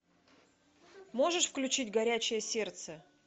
можешь включить горячее сердце